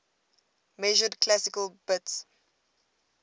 measured classical bits